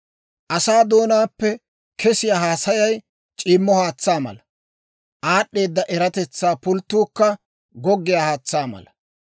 Asaa doonaappe kesiyaa haasayay c'iimmo haatsaa mala; aad'd'eeda eratetsaa pulttuukka goggiyaa haatsaa mala.